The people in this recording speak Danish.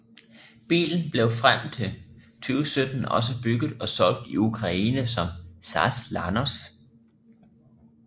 Bilen blev frem til 2017 også bygget og solgt i Ukraine som ZAZ Lanos